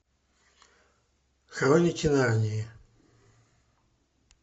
хроники нарнии